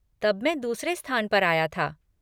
तब मैं दूसरे स्थान पर आया था।